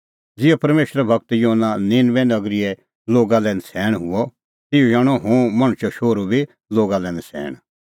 ज़िहअ परमेशरो गूर योना निनबे नगरीए लोगा लै नछ़ैण हुअ तिहअ ई हणअ हुंह मणछो शोहरू बी लोगा लै नछ़ैण